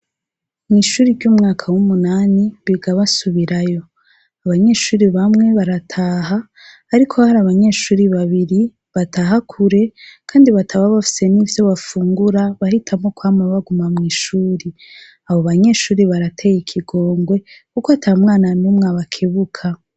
Mw'ishuri ryo mu mwaka w'umunani biga basubirayo abanyeshuri bamwe barataha ariko hari abanyeshuri babiri bataha kure kandi bataba bafise nivyo bafungura bahitamwo kwama baguma mw'ishuri abo banyeshuri barateye ikigongwe kuko atamwana numwe abakebuka